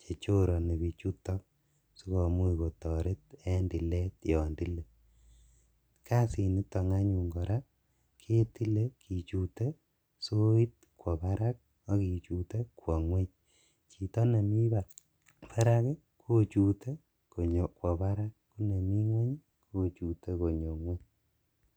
chechoroni bichuton sikomuch kotoret en tilet yon tilee, kasiniton anyun kora ketile kichutee soiit kwoo barak akichute kwoo ngweny, chito nemii barak kochute konyo kwoo barak konemii ngweny kochute konyo ngweny.